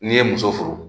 N'i ye muso furu